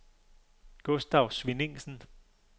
Gustav Svenningsen